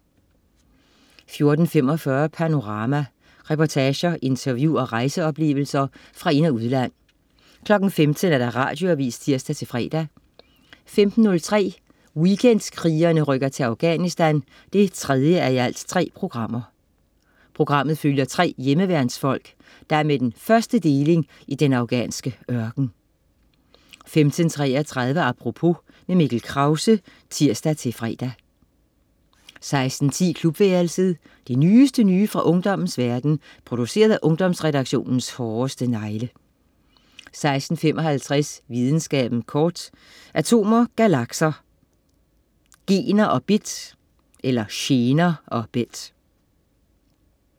14.45 Panorama. Reportager, interview og rejseoplevelser fra ind- og udland 15.00 Radioavis (tirs-fre) 15.03 Weekendkrigerne rykker til Afganisthan 3:3. Programmet følger tre hjemmeværnsfolk, der er med den første deling i den afghanske ørken 15.33 Apropos. Mikkel Krause (tirs-fre) 16.10 Klubværelset. Det nyeste nye fra ungdommens verden, produceret af Ungdomsredaktionens hårdeste negle 16.55 Videnskaben kort. Atomer, galakser, gener og bit